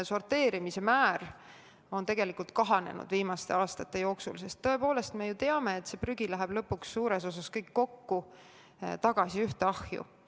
Sorteerimise maht on viimaste aastate jooksul kahanenud, sest tõepoolest, me ju teame, et kogu prügi läheb lõpuks suures osas ühte ahju kokku.